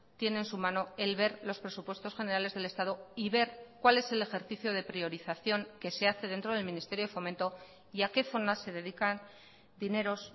tiene en su mano el ver los presupuestos generales del estado y ver cuál es el ejercicio de priorización que se hace dentro del ministerio de fomento y a qué zonas se dedican dineros